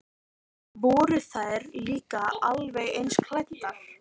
Voru þær líka alveg eins klæddar?